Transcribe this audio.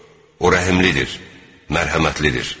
O rəhmlidir, mərhəmətlidir.